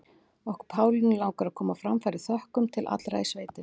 Okkur Pálínu langar að koma á framfæri þökkum til allra í sveitinni.